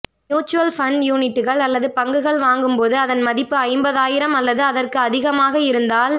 mutual fund யூனிட்டுகள் அல்லது பங்குகள் வாங்கும்போது அதன் மதிப்பு ஐம்பதாயிரம் அல்லது அதற்கு அதிகமாக இருந்தால்